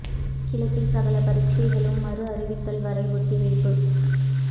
கிழக்கில் சகல பரீட்சைகளும் மறு அறிவித்தல் வரை ஒத்திவைப்பு